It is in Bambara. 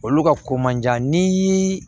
Olu ka ko man jan ni